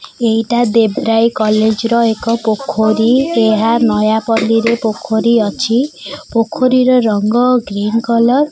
ଏଇଟା ଦେବ ରାୟ କଲେଜ ର ଏକ ପୋଖରୀ ଏହା ନୟାପଲ୍ଲୀରେ ପୋଖରୀ ଅଛି ପୋଖରୀର ରଙ୍ଗ ଗ୍ରୀନ କଲର ।